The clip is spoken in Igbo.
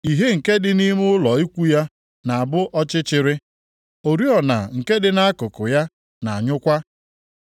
ìhè nke dị nʼime ụlọ ikwu ya na-abụ ọchịchịrị, oriọna nke dị nʼakụkụ ya na-anyụkwa.